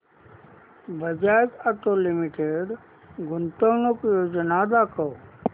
Bajaj auto limited गुंतवणूक योजना दाखव